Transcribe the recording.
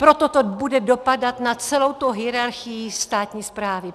Proto to bude dopadat na celou tu hierarchii státní správy.